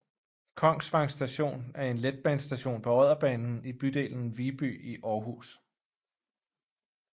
Kongsvang Station er en letbanestation på Odderbanen i bydelen Viby i Aarhus